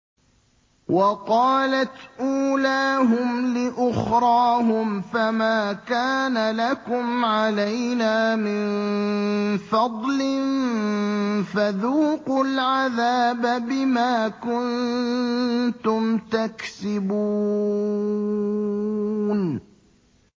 وَقَالَتْ أُولَاهُمْ لِأُخْرَاهُمْ فَمَا كَانَ لَكُمْ عَلَيْنَا مِن فَضْلٍ فَذُوقُوا الْعَذَابَ بِمَا كُنتُمْ تَكْسِبُونَ